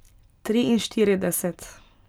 Triinštirideset.